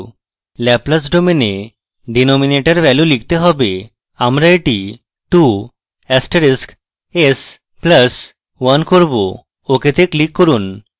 laplace domain we denominator value লিখতে হবে আমরা এটি 2 asterisk s plus 1 করব ok তে click করুন